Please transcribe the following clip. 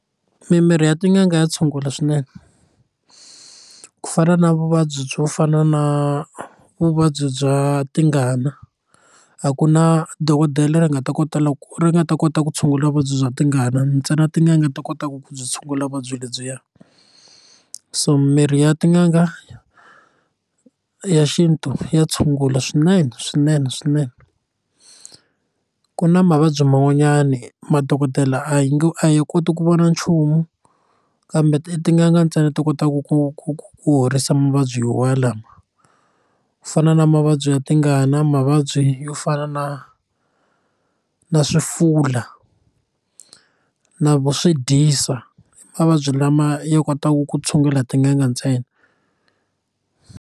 Mimirhi ya tin'anga ya tshungula swinene ku fana na vuvabyi byo fana na vuvabyi bya tingana a ku na dokodela leri nga ta kota loko ri nga ta kota ku tshungula vuvabyi bya tingana ntsena tin'anga ta kotaka ku byi tshungula vuvabyi lebyiya so mirhi ya tin'anga ya xintu ya tshungula swinene swinene swinene ku na mavabyi man'wanyani madokodela a yi nge a ya koti ku vona nchumu kambe tin'anga ntsena to kotaku ku ku ku horisa mavabyi walawo ku fana na mavabyi ya tingana mavabyi yo fana na na swifula na vo swidyisa mavabyi lama ya kotaku ku tshungula hi tin'anga ntsena.